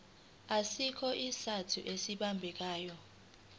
asikho isizathu esibambekayo